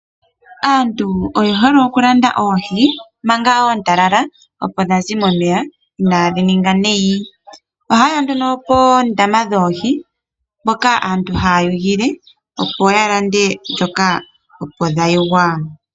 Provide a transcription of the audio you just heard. Aantu oye hole oku landa oohi manga ontalala opo dhazi momeya inadhi ninga nayi, ohaye ya nduno pondama dhoohi mpoka aantu haya yogele yo yalande manga opo dhayogwa.